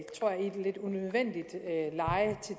et lidt unødvendigt leje i